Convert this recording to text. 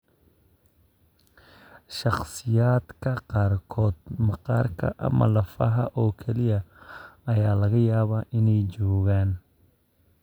Shakhsiyaadka qaarkood, maqaarka ama lafaha oo kaliya ayaa laga yaabaa inay joogaan.